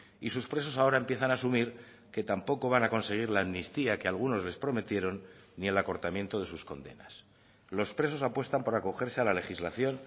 y sus presos ahora empiezan a asumir que tampoco van a conseguir la amnistía que algunos les prometieron ni el acortamiento de sus condenas los presos apuestan por acogerse a la legislación